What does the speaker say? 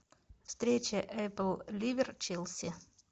встреча апл ливер челси